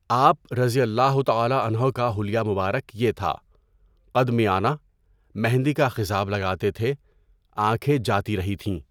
آپ رضی اللہ تعالیٰ عنہ کا حلیہ مبارک یہ تھا، قد میانہ، مہندی کا خضاب لگاتے تھے، آنکھیں جاتی رہی تھیں۔